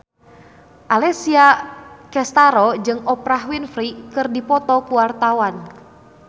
Alessia Cestaro jeung Oprah Winfrey keur dipoto ku wartawan